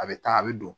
A bɛ taa a bɛ don